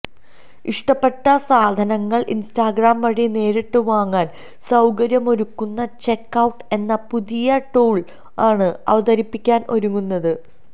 ഇഷ്ടപ്പെട്ട സാധനങ്ങള് ഇന്സ്റ്റാഗ്രാം വഴി നേരിട്ട് വാങ്ങാന് സൌകര്യമൊരുക്കുന്ന ചെക്ക് ഔട്ട് എന്ന പുതിയ ടൂള് ആണ് അവതരിപ്പിക്കാൻ ഒരുങ്ങുന്നത്